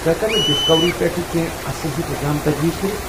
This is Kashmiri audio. ژٕ ہیٚککھا مےٚ ڈِسکوری پٮ۪ٹھ کینٛہہ اصٕل ہی پروگرام تجویز كرِتھ ؟